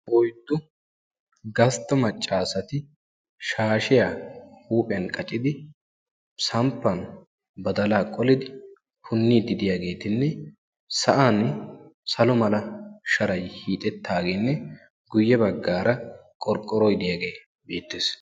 Oyddu gastta maccaasati shaashiya huuphiyan qacidi, samppan badalaa qolidi punniiddi diyageetinne sa'an salo mera sharay hiixettaageenne guyye baggaara qorqqoroy ddiyagee beettees.